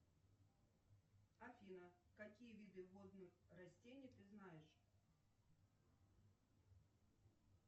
афина какие виды водных растений ты знаешь